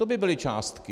To by byly částky!